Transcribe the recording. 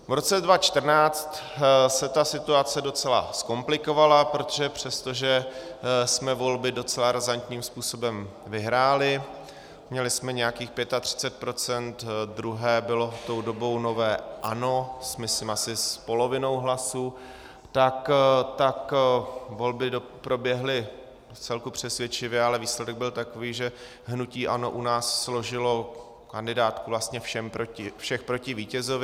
V roce 2014 se ta situace docela zkomplikovala, protože přestože jsme volby docela razantním způsobem vyhráli, měli jsme nějakých 35 %, druhé bylo tou dobou nové ANO, myslím, asi s polovinou hlasů, tak volby proběhly vcelku přesvědčivě, ale výsledek byl takový, že hnutí ANO u nás složilo kandidátku všech proti vítězovi.